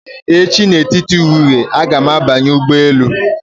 Echi na etiti ehihie, agara m banye ụgbọ elu